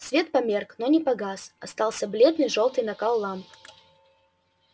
свет померк но не погас остался бледный жёлтый накал ламп